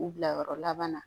U bilayɔrɔ laban na